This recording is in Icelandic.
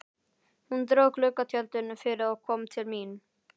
Hún dró gluggatjöldin fyrir og kom til mín.